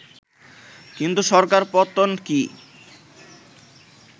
কিন্তু সরকার পতন কি